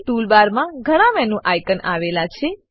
tool બારમાં ઘણા menu આઇકોનો આવેલા છે